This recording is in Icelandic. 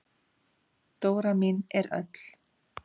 Dóra mín er öll.